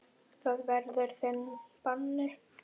Það verður þinn bani.